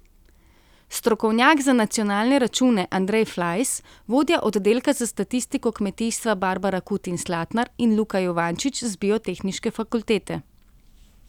Strokovnjak za nacionalne račune Andrej Flajs, vodja oddelka za statistiko kmetijstva Barbara Kutin Slatnar in Luka Juvančič z biotehniške fakultete.